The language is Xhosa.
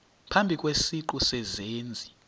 phambi kwesiqu sezenzi